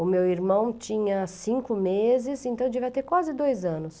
O meu irmão tinha cinco meses, então devia ter quase dois anos.